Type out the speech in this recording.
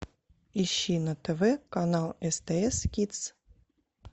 ищи на тв канал стс кидс